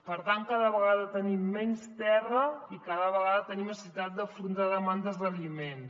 per tant cada vegada tenim menys terra i cada vegada tenim necessitat d’afrontar demandes d’aliments